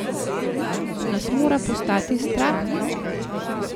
Nas mora postati strah?